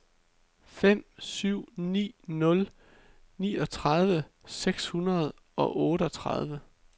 fem syv ni nul niogtredive seks hundrede og otteogtredive